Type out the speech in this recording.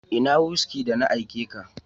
Ina "whisky "da na aike ka?